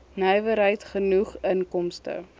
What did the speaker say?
nywerheid genoeg inkomste